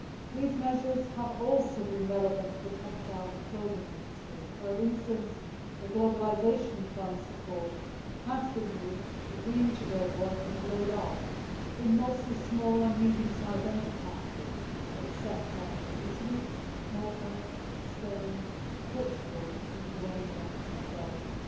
These measures have also been relevant for the textile and clothing industry for instance, the Globalisation Fund support has been used to reintegrate workers laid off in mostly small and medium sized enterprises of the sector in Italy, Malta, Spain, Portugal, Lithuania and Belgium.